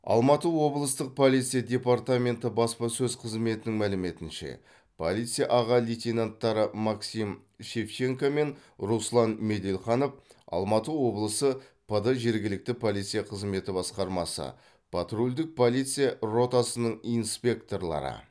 алматы облыстық полиция департаменті баспасөз қызметінің мәліметінше полиция аға лейтенанттары максим шевченко мен руслан меделханов алматы облысы пд жергілікті полиция қызметі басқармасы патрульдік полиция ротасының инспекторлары